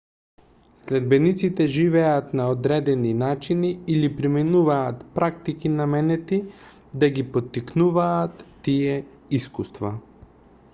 следбениците живеат на одредени начини или применуваат практики наменети да ги поттикнуваат тие искуства